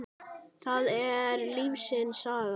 það er lífsins saga.